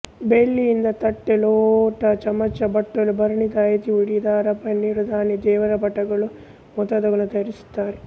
ಬೆಳ್ಳಿಯಿಂದ ತಟ್ಟೆ ಲೋಟ ಚಮಚೆ ಬಟ್ಟಲು ಭರಣಿ ತಾಯಿತಿ ಉಡಿದಾರ ಪನ್ನೀರುದಾನಿ ದೇವರಪಟಗಳು ಮುಂತಾದುವನ್ನು ತಯಾರಿಸುತ್ತಾರೆ